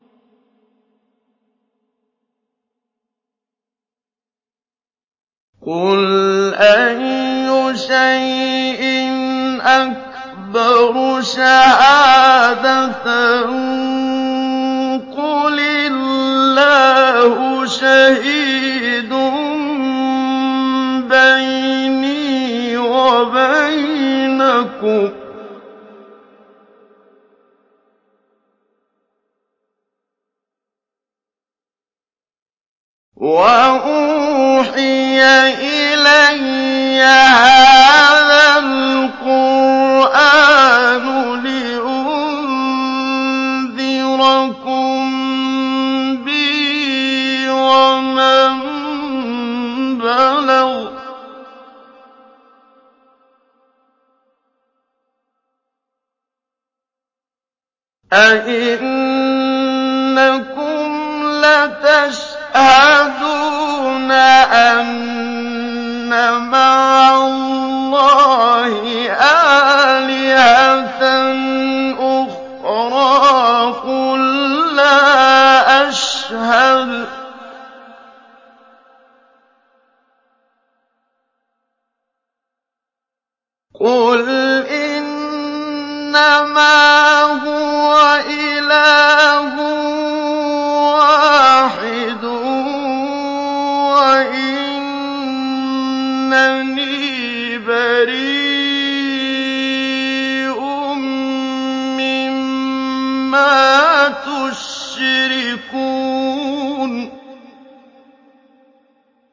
قُلْ أَيُّ شَيْءٍ أَكْبَرُ شَهَادَةً ۖ قُلِ اللَّهُ ۖ شَهِيدٌ بَيْنِي وَبَيْنَكُمْ ۚ وَأُوحِيَ إِلَيَّ هَٰذَا الْقُرْآنُ لِأُنذِرَكُم بِهِ وَمَن بَلَغَ ۚ أَئِنَّكُمْ لَتَشْهَدُونَ أَنَّ مَعَ اللَّهِ آلِهَةً أُخْرَىٰ ۚ قُل لَّا أَشْهَدُ ۚ قُلْ إِنَّمَا هُوَ إِلَٰهٌ وَاحِدٌ وَإِنَّنِي بَرِيءٌ مِّمَّا تُشْرِكُونَ